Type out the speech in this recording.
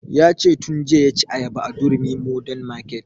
Ya ce tun jiya ya ci ayaba a durumi modern market